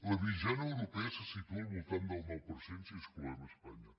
la mitjana europea se situa al voltant del nou per cent si excloem espanya